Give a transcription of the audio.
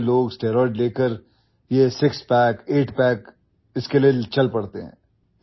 आजकल इतनेसारे लोग ଷ୍ଟେରଏଡ୍ लेकर यह ସିକ୍ସ ପ୍ୟାକ୍ ଆଇଟ୍ ପ୍ୟାକ୍ इसके लिएचल पड़ते हैं